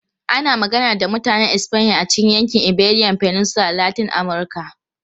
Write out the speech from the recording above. Ana magana da Mutanen Espanya a cikin yankin Iberian Peninsula da Latin Amurka.